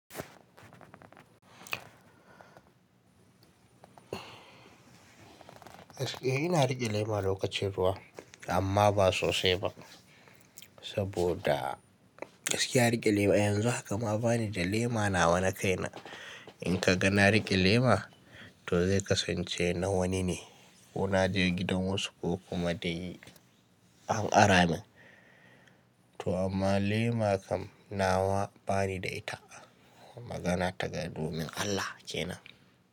Eh ina riƙe lema lokacin ruwa amma ba sosai ba, saboda gaskiya riƙe lema yanzu haka ma bani da lema nawa na kaina. In ka ga na riƙe lema, to zai kasance na wani ne ko na je gidan wasu ko kuma dai an ara min. To amma lema kam nawa bani da ita. Magana ta ga domin Allah kenan.